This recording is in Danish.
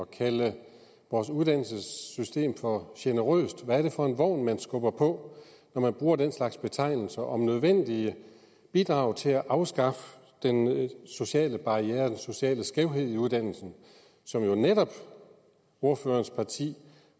kalde vores uddannelsessystem for generøst hvad er det for en vogn man skubber på når man bruger den slags betegnelser om nødvendige bidrag til at afskaffe den sociale barriere den sociale skævhed i uddannelsen som jo netop ordførerens parti